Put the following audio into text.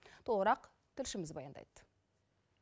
толығырақ тілшіміз баяндайды